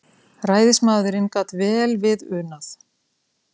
Ræðismaðurinn gat vel við unað.